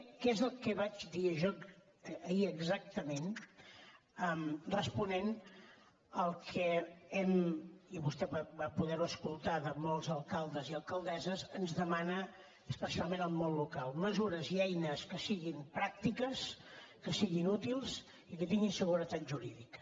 què és el que vaig dir jo ahir exactament responent al que i vostè va poder ho escoltar de molts alcaldes i alcaldesses ens demana especialment el món local mesures i eines que siguin pràctiques que siguin útils i que tinguin seguretat jurídica